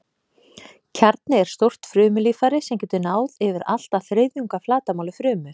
Kjarni er stórt frumulíffæri sem getur náð yfir allt að þriðjung af flatarmáli frumu.